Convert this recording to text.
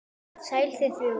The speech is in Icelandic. Sæl þið þrjú.